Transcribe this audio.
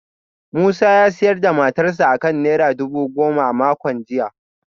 Musa ya sayar da motarsa ​​akan naira dubu goma a makon jiya